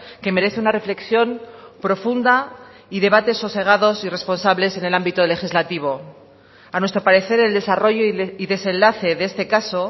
que merece una reflexión profunda y debates sosegados y responsables en el ámbito legislativo a nuestro parecer el desarrollo y desenlace de este caso